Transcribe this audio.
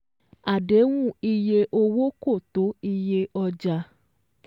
Àdéhùn iye owó kò tó iyé ọjà